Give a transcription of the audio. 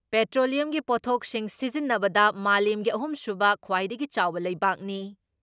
ꯄꯦꯇ꯭ꯔꯣꯂꯤꯌꯝꯒꯤ ꯄꯣꯠꯊꯣꯛꯁꯤꯡ ꯁꯤꯖꯤꯟꯅꯕꯗ ꯃꯥꯂꯦꯝꯒꯤ ꯑꯍꯨꯝ ꯁꯨꯕ ꯈ꯭ꯋꯥꯏꯗꯒꯤ ꯆꯥꯎꯕ ꯂꯩꯕꯥꯛꯅꯤ ꯫